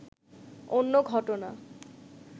অন্য ঘটনা